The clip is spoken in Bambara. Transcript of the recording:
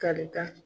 Kari ka